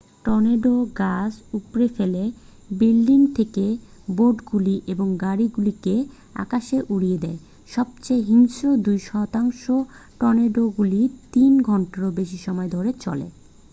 tornado গাছ উপড়ে ফেলে বিল্ডিং থেকে বোর্ডগুলি এবং গাড়িগুলিকে আকাশে উড়িয়ে দেয় সবচেয়ে হিংস্র দুই শতাংশ টর্নেডোগুলি তিন ঘন্টারও বেশি সময় ধরে চলে